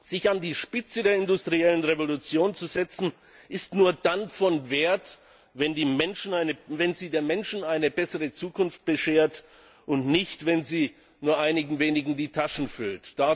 Sich an die Spitze der industriellen Revolution zu setzen, ist nur dann von Wert, wenn sie den Menschen eine bessere Zukunft beschert, und nicht, wenn sie nur einigen wenigen die Taschen füllt.